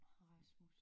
Rasmus